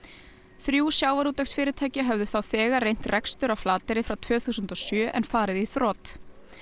þrjú sjávarútvegsfyrirtæki höfðu þá þegar reynt rekstur á Flateyri frá tvö þúsund og sjö en farið í þrot